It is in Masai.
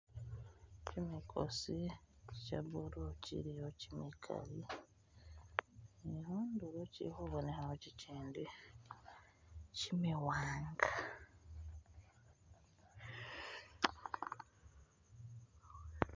Chimikosi cha'blue chilyawo chimikali ni'khundulo chilikhubonekho chichindi chimiwanga